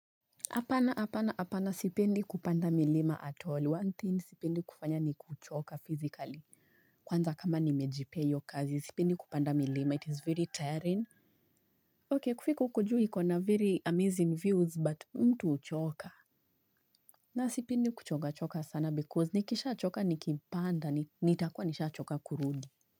Apana, apana, apana sipendi kupanda milima at all. One thing sipendi kufanya ni kuchoka physically. Kwanza kama nimejipeayo kazi. Sipendi kupanda milima. It is very tiring. I Okay, kufika huku juu iko na very amazing views but mtu huchoka. Na sipendi kuchoka choka sana because nikisha choka nikipanda. Nitakuwa nisha choka kurudi.